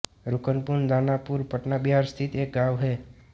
रुकनपुर दानापुर पटना बिहार स्थित एक गाँव है